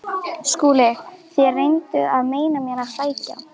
SKÚLI: Þér reynduð að meina mér að sækja